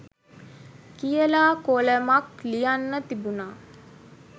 කියලා කොලමක් ලියන්න තිබුණා